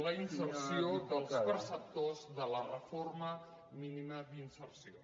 la inserció dels preceptors de la renda mínima d’inserció